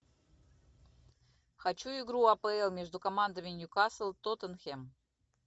хочу игру апл между командами ньюкасл тоттенхэм